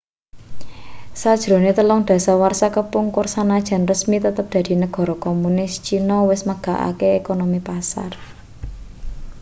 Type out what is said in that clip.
sajrone telung dasawarsa kepungkur sanajan resmi tetep dadi negara komunis cina wis megarake ekonomi pasar